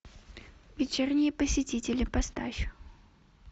вечерние посетители поставь